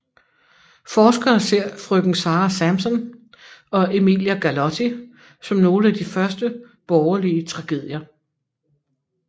Forskere ser Frøken Sara Sampson og Emilia Galotti som nogle af de første borgerlige tragedier